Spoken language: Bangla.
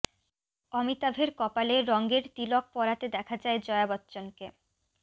অমিতাভের কপালে রঙের তিলক পরাতে দেখা যায় জয়া বচ্চনকে